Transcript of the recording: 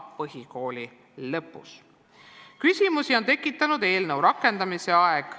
Küsimusi on tekitanud eelnõu rakendamise aeg.